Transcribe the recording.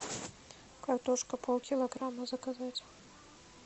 картошка полкилограмма заказать